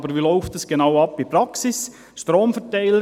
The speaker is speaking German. Aber wie läuft es in der Praxis genau ab?